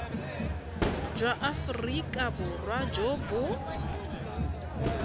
jwa aforika borwa jo bo